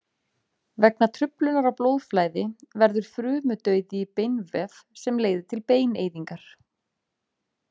Vegna truflunar á blóðflæði verður frumudauði í beinvef sem leiðir til beineyðingar.